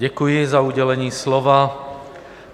Děkuji za udělení slova.